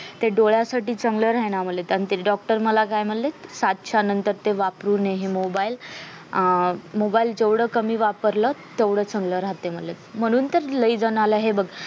ते डोळ्यासाठी चांगलं राह्यना म्हणेत आणि ते doctor काय मला म्हणलेत सात च्या नंतर ते वापरू नये mobile अह mobile जेवढे कमी वापरले तेवढेच चांगलेच राहतेय म्हणे मानून तर लय जनाला हे बग